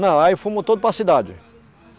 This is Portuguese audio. Não, aí fomos todos para a cidade.